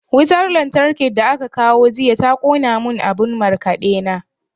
Wutan lantarkin da aka kawo jiya ta ƙona mun abun markaɗe na.